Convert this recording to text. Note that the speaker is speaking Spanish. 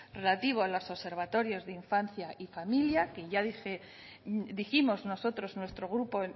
relativo a los observatorios de infancia y familia que ya dijimos nosotros nuestro grupo